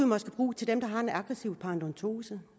måske bruge til dem der har aggressiv paradentose